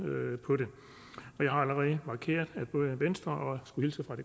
på det jeg har allerede markeret at både venstre og